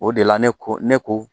O de la ne ko ne ko.